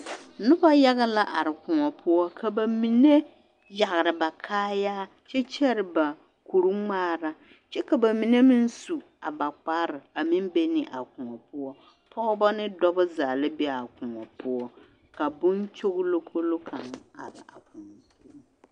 Nobɔ yaga la koɔ poɔ ka ba mine yagre ba kaayaa kyɛ kyɛre ba koruŋmaara kyɛ ka ba mine meŋ su a ba kparre a meŋ be ne a koɔ poɔ pɔgbɔ ne dɔbɔ zaa la be a koɔ poɔ ka boŋkyoglokolo kaŋ a are a koɔ poɔ.